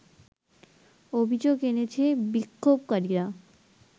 অভিযোগ এনেছে বিক্ষোভকারীরা